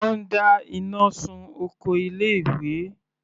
Wọ́n dá iná sun oko ilé ìwé.